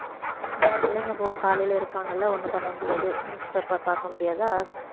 இந்த பிள்ளைங்க போ~ காலையில இருப்பாங்கல்ல ஒண்ணும் பண்ண முடியாது newspaper பார்க்க முடியாதா